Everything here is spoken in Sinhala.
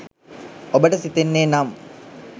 ඔබට සිතෙන්නේ නම්